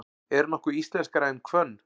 Er nokkuð íslenskara en hvönn?